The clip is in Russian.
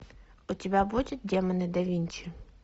у тебя будет демоны да винчи